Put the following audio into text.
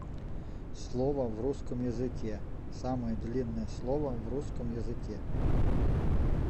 слово в русском языке самое длинное слово в русском языке